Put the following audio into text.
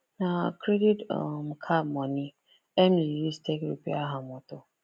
na credit um card moni emily use take repair her moto